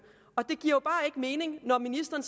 og det giver jo bare ikke mening når ministeren